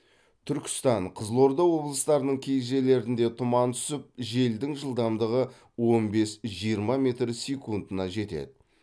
түркістан қызылорда облыстарының кей жерлерінде тұман түсіп желдің жылдамдығы он бес жиырма метр секундына жетеді